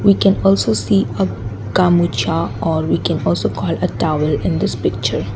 we can also see or we can also call a towel in this picture.